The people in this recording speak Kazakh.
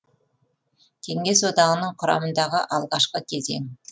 кеңес одағының құрамындағы алғашқы кезең